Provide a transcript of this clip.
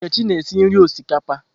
Nkechi na-esi nri osikapa.